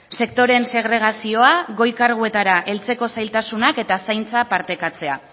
sektoreen segregazioa goi karguetara heltzeko zailtasunak eta zaintza partekatzea